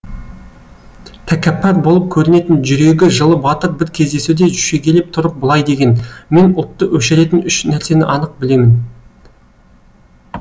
тәкаппар болып көрінетін жүрегі жылы батыр бір кездесуде шегелеп тұрып былай деген мен ұлтты өшіретін үш нәрсені анық білемін